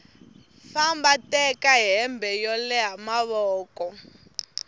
famba teka hembe yo leha mavoko